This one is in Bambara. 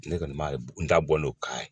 Ne kɔni m'a ye n da bɔ n'o kala ye